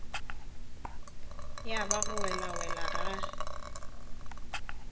ya ba go welawela ga